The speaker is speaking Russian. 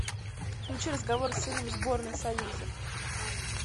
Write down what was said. включи разговор с сыном сборной союза